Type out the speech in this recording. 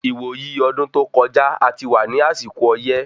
Ìwò yí ọdún tó kọjá, a ti wà ní àsìkò ọyẹ́